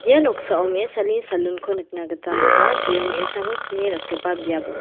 ia noksao me·asani salon-ko nikna gita man·a jeon me·asako kni ratgipa biap ong·a.